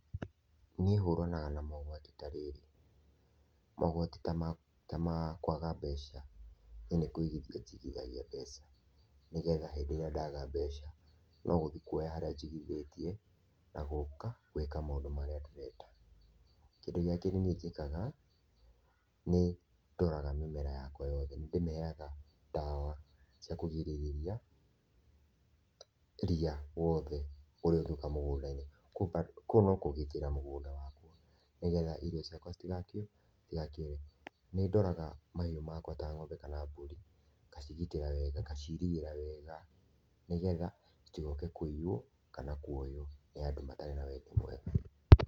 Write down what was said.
Niĩ hũranaga na mogwati ta rĩrĩ , mogwatĩ ta makwaga mbeca nie nikũigithia njigithagia mbeca nĩgetha hĩndĩ ĩrĩa ndaga mbeca no gũthiĩ kuoya harĩa njigithĩtie na gũka gwĩka maũndũ marĩa ndĩrenda. Kĩndũ gĩa kerĩ nie njĩkaga, nĩ ndoraga mĩmera yakwa yothe nĩndĩmĩheaga ndawa cia kũgĩrĩrĩria ria wothe ũrĩa ũngĩuka mũgũnda-ĩnĩ, kũu no kũgĩtĩra mũgũnda wakwa nĩgetha irio ciakwa citigakĩ citigakĩore. Nĩndoraga mahiũ makwa ta ng'ombe kana mbũri ngacigitĩra wega ngaciirĩgĩra wega nĩgetha citigoke kũiywo kana kuoywo nĩ andũ matarĩ na wendi mwega.